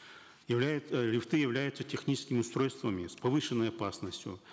э лифты являются техническими устройствами с повышенной опасностью